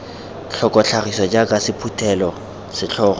tlhoko tlhagiso jaaka sephuthelo setlhogo